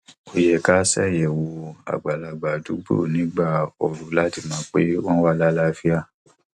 ó yẹ kí a ṣàyẹwò àgbàlagbà àdúgbò nígbà ooru láti mọ pé wọn wà láàlàáfíà